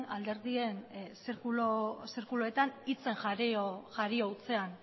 alderdien zirkuluetan hitzen jario hutsean